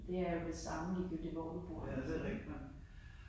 Det er jo det samme ligegyldigt hvor du bor ik så